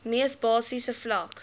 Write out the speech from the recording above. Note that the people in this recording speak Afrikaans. mees basiese vlak